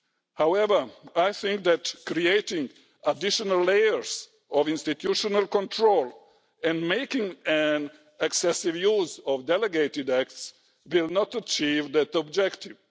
However, I think that creating additional layers of institutional control and making excessive use of delegated acts will not achieve that objective.